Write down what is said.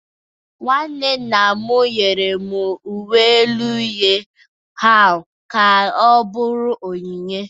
Nwanne nna m nyere m uwe elu uhie ahụ ka ọ bụrụ onyinye